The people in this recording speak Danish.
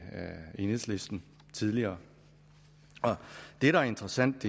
enhedslisten tidligere det der er interessant